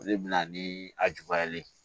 O de bɛ na ni a juguyalen ye